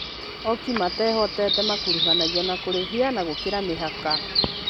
Ooki matehotete makuruhanagio na kũrĩithia na gũkĩra mĩhaka